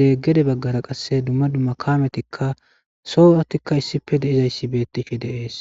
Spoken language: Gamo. de'ees. Gede baggara qasse dumma dumma kaametika soozatuka issipe de'ishe beetizays de'ees.